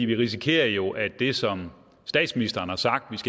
vi risikerer jo at det som statsministeren har sagt